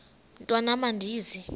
mntwan am andizi